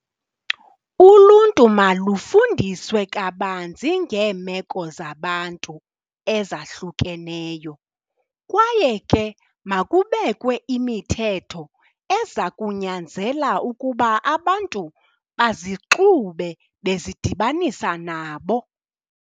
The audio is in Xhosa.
Uluntu malufundiswe kabanzi ngeemeko zabantu ezahlukeneyo, kwaye ke makubekwe imithetho eza kunyanzela ukuba abantu bazixube bezidibanisa nabo.